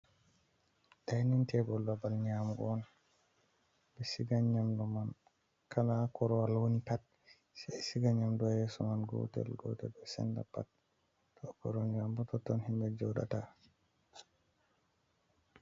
Dining table babal nyamugo on, ɓe siga nyamdu man kala korowal woni pat se siga nyamdu yeso man gotel gotel, ɓe senda pat to koro amboto ton himɓe joɗata.